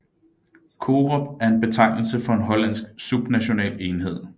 COROP er en betegnelse for en hollandsk subnational enhed